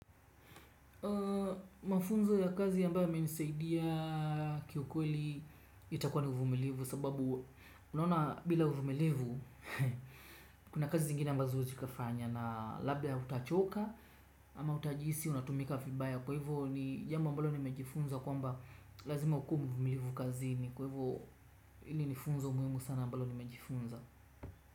Mafunzo ya kazi yambao ya menisaidia kiukweli itakua ni uvumelivu sababu unawona bila uvumilivu kuna kazi zingine ambazo huwezi kafanya na labda utachoka ama utajisi unatumika vibaya kwa hivyo ni jambo ambalo ni mejifunza kwa mba lazima ukuwe mvumilivu kazini. Kwa hivyo hili ni funzo muhimu sana ambalo nimejifunza.